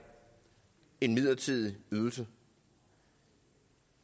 en midlertidig ydelse